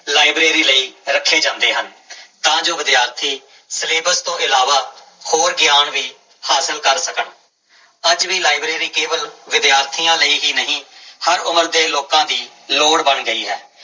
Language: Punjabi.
ਲਾਇਬ੍ਰੇਰੀ ਲਈ ਰੱਖੇ ਜਾਂਦੇ ਹਨ ਤਾਂ ਜੋ ਵਿਦਿਆਰਥੀ ਸਿਲੇਬਸ ਤੋਂ ਇਲਾਵਾ ਹੋਰ ਗਿਆਨ ਵੀ ਹਾਸਲ ਕਰ ਸਕਣ, ਅੱਜ ਵੀ ਲਾਇਬ੍ਰੇਰੀ ਕੇਵਲ ਵਿਦਿਆਰਥੀਆਂ ਲਈ ਹੀ ਨਹੀਂ ਹਰ ਉਮਰ ਦੇ ਲੋਕਾਂ ਦੀ ਲੋੜ ਬਣ ਗਈ ਹੈ।